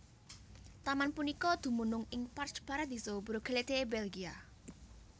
Taman punika dumunung ing Parc Paradisio Brugelette Belgia